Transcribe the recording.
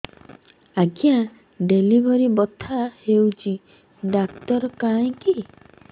ଆଜ୍ଞା ଡେଲିଭରି ବଥା ହଉଚି ଡାକ୍ତର କାହିଁ କି